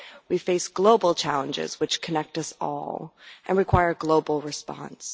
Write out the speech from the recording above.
We face global challenges which connect us all and require a global response.